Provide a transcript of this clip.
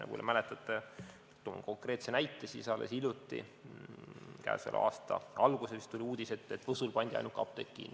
Nagu te mäletate, toon konkreetse näite, alles hiljuti käesoleva aasta alguses tuli uudis, et Võsul pandi ainuke apteek kinni.